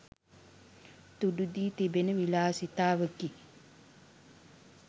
තුඩු දී තිබෙන විලාසිතාවකි